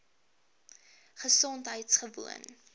gesondheidgewoon